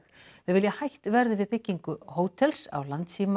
þau vilja að hætt verði við byggingu hótels á